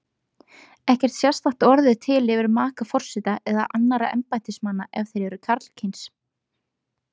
Ekkert sérstakt orð er til yfir maka forseta eða annarra embættismanna ef þeir eru karlkyns.